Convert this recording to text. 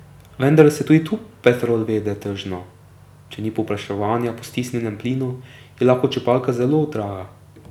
Vendar se tudi tu Petrol vede tržno, če ni povpraševanja po stisnjenem plinu, je lahko črpalka zelo draga.